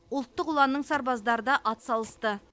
ұлттық ұланның сарбаздары да атсалысты